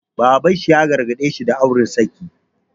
Baban sa ya gargaɗe shi da auri saki.